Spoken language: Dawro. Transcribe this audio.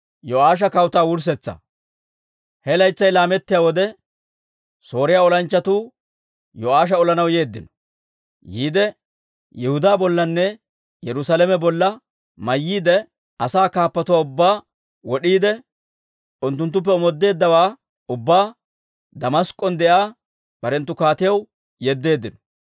He laytsay laamettiyaa wode, Sooriyaa olanchchatuu Yo'aasha olanaw yeeddino. Yihudaa bollanne Yerusaalame bolla mayyiide, asaa kaappatuwaa ubbaa wod'iide, unttuttuppe omoodeeddawaa ubbaa Damask'k'on de'iyaa barenttu kaatiyaw yeddeeddino.